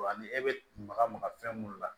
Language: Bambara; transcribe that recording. Wa ani e bɛ maka maka fɛn mun na